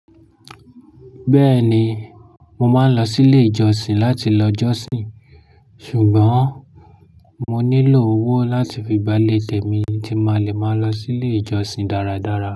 Beeni, mo maa n lo si ile ijosin lati lo josin. Ṣùgbọ́n mo nílò owó láti fi gbá ilé temí tí máa lè máa lọ sí ilé ìjọsìn dáradára.